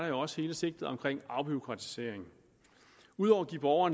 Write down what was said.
jo også hele sigtet om afbureaukratisering ud over